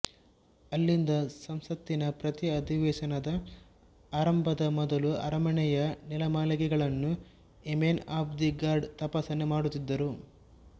ಅಲ್ಲಿಂದ ಸಂಸತ್ತಿನ ಪ್ರತಿ ಅಧಿವೇಶನದ ಆರಂಭದ ಮೊದಲು ಅರಮನೆಯ ನೆಲಮಾಳಿಗೆಗಳನ್ನು ಯೆಮೆನ್ ಆಫ್ ದಿ ಗಾರ್ಡ್ ತಪಾಸಣೆ ಮಾಡುತ್ತಿದ್ದರು